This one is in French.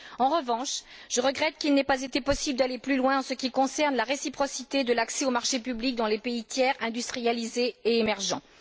En revanche, je regrette qu'il n'ait pas été possible d'aller plus loin en ce qui concerne la réciprocité de l'accès aux marchés publics dans les pays tiers industrialisés et émergents.